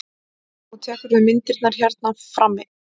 Og tekurðu myndirnar hérna frammi?